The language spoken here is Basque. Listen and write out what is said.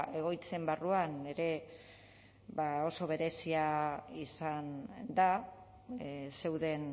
egoitzen barruan ere oso berezia izan da zeuden